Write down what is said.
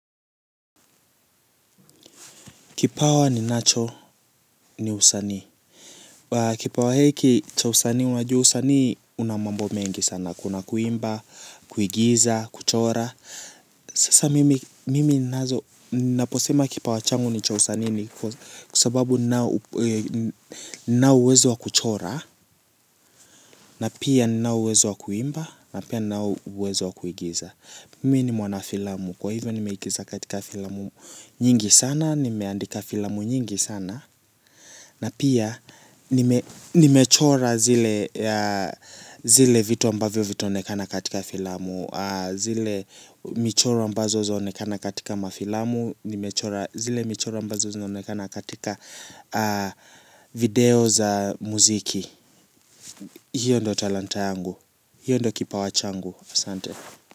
Kipawa ninacho ni usanii. Kipawa hiki cha usanii unajua usanii una mambo mengi sana. Kuna kuimba, kuigiza, kuchora. Sasa mimi ninazo, naposema kipawa changu ni cha usanii ni kwa sababu ninao uwezo wa kuchora. Na pia ninao uwezo wa kuimba, na pia ninao uwezo wa kuigiza. Mimi ni mwana filamu, kwa hivyo nimeigiza katika filamu nyingi sana, nimeandika filamu nyingi sana. Na pia nimechora zile vitu ambavyo vitaonekana katika filamu, zile michoro ambazo zaonekana katika mafilamu, nimechora zile michoro ambazo zinaonekana katika video za muziki. Hiyo ndio talanta yangu. Hiyo ndo kipawa changu. Asante.